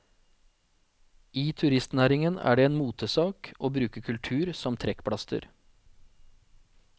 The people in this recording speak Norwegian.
I turistnæringen er det en motesak å bruke kultur som trekkplaster.